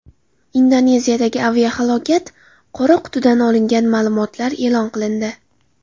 Indoneziyadagi aviahalokat: qora qutidan olingan ma’lumotlar e’lon qilindi.